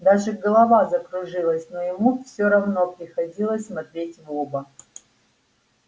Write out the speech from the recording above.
даже голова закружилась но ему все равно приходилось смотреть в оба